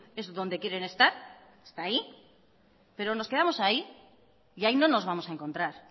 es donde quieren estar está ahí pero nos quedamos ahí y ahí no nos vamos a encontrar